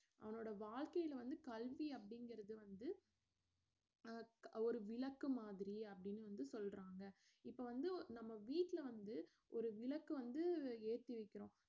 அவனோட வாழ்க்கைல வந்து கல்வி அப்படிங்கறது வந்து அஹ் க~ ஒரு விளக்கு மாதிரி அப்படின்னு வந்து சொல்றாங்க இப்ப வந்து நம்ம வீட்ல வந்து ஒரு விளக்கு வந்து ஏத்தி வைக்கிறோம்